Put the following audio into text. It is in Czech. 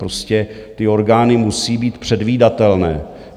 Prostě ty orgány musí být předvídatelné.